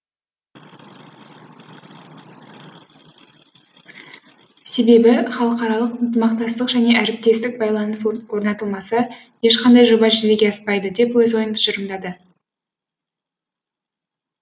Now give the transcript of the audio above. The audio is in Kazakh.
себебі халықаралық ынтымақтастық және әріптестік байланыс орнатылмаса ешқандай жоба жүзеге аспайды деп өз ойын тұжырымдады